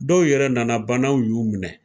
Dɔw yɛrɛ nana banaw y'u minɛ.